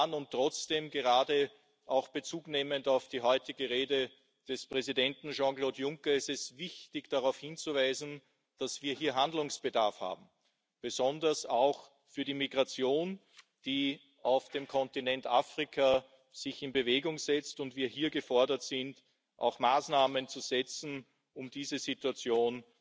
Und trotzdem, gerade Bezug nehmend auf die heutige Rede des Präsidenten Jean Claude Juncker, ist es wichtig, darauf hinzuweisen, dass wir hier Handlungsbedarf haben, besonders in Bezug auf die Migration, die sich auf dem Kontinent Afrika in Bewegung setzt und wo wir hier gefordert sind, Maßnahmen zu setzen, um diese Situation